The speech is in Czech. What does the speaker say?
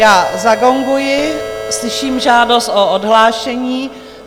Já zagonguji, slyším žádost o odhlášení.